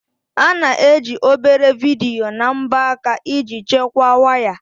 A na-eji obere vidiyo na mbọ aka iji chekwaa waya.